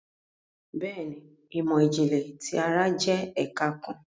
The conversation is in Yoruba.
Béèni, imọ-jinlẹ ti ara jẹ ẹka kàn